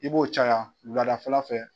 I b'o caya wuladafɛla fɛ.